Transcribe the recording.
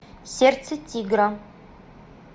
сердце тигра